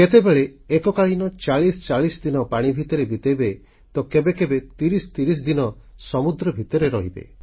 କେତେବେଳେ ଏକକାଳୀନ 4040 ଦିନ ପାଣି ଭିତରେ ବିତେଇବେ ତ କେବେ କେବେ 3030 ଦିନ ସମୁଦ୍ର ଭିତରେ ରହିବେ